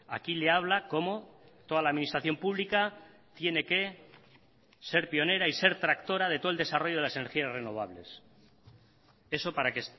aquí le habla cómo toda la administración pública tiene que ser pionera y ser tractora de todo el desarrollo de las energías renovables eso para que